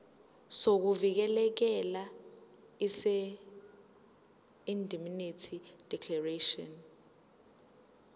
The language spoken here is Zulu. sokuvikeleka seindemnity declaration